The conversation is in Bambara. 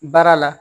Baara la